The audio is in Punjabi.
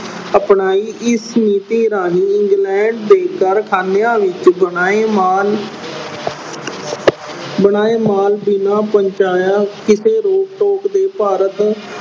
ਅਪਣਾਈ। ਇਸ ਨੀਤੀ ਰਾਹੀਂ England ਦੇ ਕਾਰਖਾਨਿਆਂ ਵਿੱਚ ਬਣਾਏ ਮਾਲ ਅਹ ਬਣਾਏ ਮਾਲ ਬਿਨਾਂ ਪਹੁੰਚਾਇਆ ਕਿਸੇ ਰੋਕ-ਟੋਕ ਦੇ ਭਾਰਤ